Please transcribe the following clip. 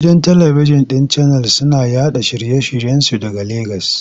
Gidan talibikjin ɗin Channels suna yaɗa shirye-shiryensu daga Legas.